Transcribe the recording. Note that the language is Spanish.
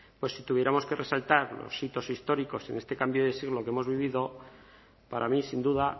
pues si tuviéramos que resaltar los hitos históricos en este cambio de siglo que hemos vivido para mí sin duda